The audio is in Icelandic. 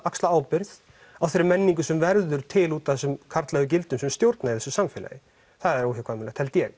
axla ábyrgð á þeirri menningu sem verður til út af þessum karllægu gildum sem stjórna í þessu samfélagi það er óhjákvæmilegt held ég